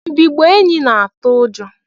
Mbigbọ enyi na atụ ụjọ.